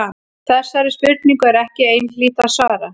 Þessari spurningu er ekki einhlítt að svara.